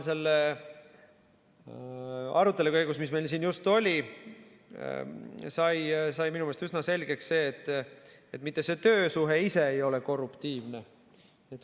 Selle arutelu käigus, mis meil siin just oli, sai minu meelest üsna selgeks see, et mitte see töösuhe ise ei ole korruptiivne.